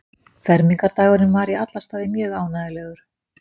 Fermingardagurinn var í alla staði mjög ánægjulegur.